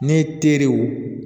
Ne teriw